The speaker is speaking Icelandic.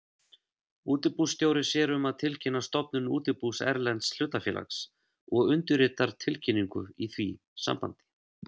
Útibússtjóri sér um að tilkynna stofnun útibús erlends hlutafélags og undirritar tilkynningu í því sambandi.